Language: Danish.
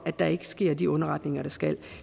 at der ikke sker de underretninger der skal